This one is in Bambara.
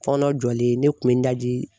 Fɔnɔ jɔlen ne kun bɛ n daji